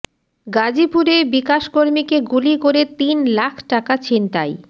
গাজীপুরে বিকাশ কর্মীকে গুলি করে তিন লাখ টাকা ছিনতাই